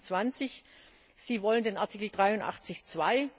325. Sie wollen den Artikel 83 Absatz